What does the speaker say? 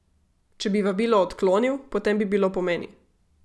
Če bi vabilo odklonil, potem bi bilo po meni.